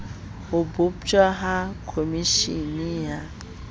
ho botjwa ha komeshene ya